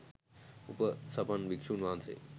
උපසපන් භික්ෂූන් වහන්සේ